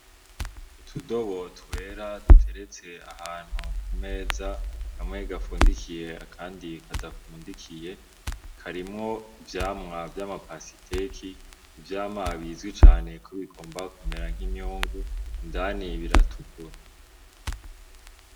Utudobotwera duteretse ahantu ku meza kamwe gafundikiye akandi kadafundikiye karimwo ivyamwa vy'amapasiteki ivyamwa bizwi cane kubigomba kumera nk'imyungu indani biratukura.